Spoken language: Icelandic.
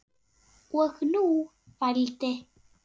Og nú vældi